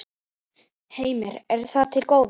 Heimir: Er það til góða?